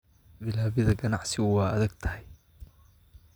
Bilaabida ganacsigu waa adag tahay